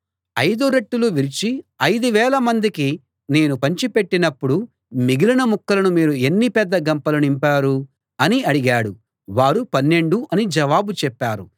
ఐదు రొట్టెలు విరిచి ఐదు వేల మందికి నేను పంచిపెట్టినప్పుడు మిగిలిన ముక్కలను మీరు ఎన్ని పెద్ద గంపలు నింపారు అని అడిగాడు వారు పన్నెండు అని జవాబు చెప్పారు